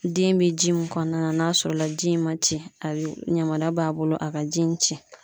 Den be ji min kɔnɔna na n'a sɔrɔ la ji in ma ci a be yamaruya b'a bolo a ka ji in ci